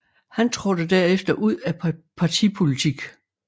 Han trådte derefter ud af partipolitik